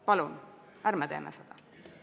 Palun ärme teeme seda!